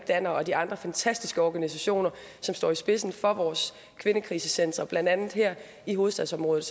danner og de andre fantastiske organisationer som står i spidsen for vores kvindekrisecentre blandt andet her i hovedstadsområdet